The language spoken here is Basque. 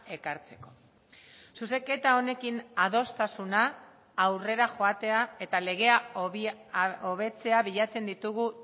ekartzeko zuzenketa honekin adostasuna aurrera joatea eta legea hobetzea bilatzen ditugu